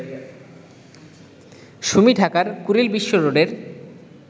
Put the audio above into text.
সুমি ঢাকার কুড়িল বিশ্ব রোডের